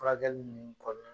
Furakɛli ninnu kɔ